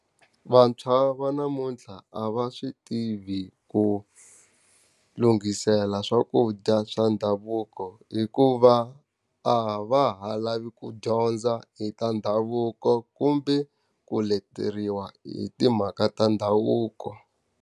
Vantshwa va namuntlha a va swi tivi ku lunghisela swakudya swa ndhavuko hikuva, a va ha lavi ku dyondza hi ta ndhavuko kumbe ku leteriwa hi timhaka ta ndhavuko.